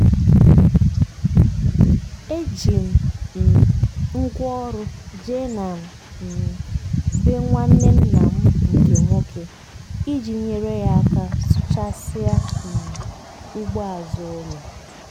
e ji m um ngwaọrụ jee na um be nwanne nna m nke nwoke iji nyere ya aka sụchasịa um ugbo azụ ụlọ.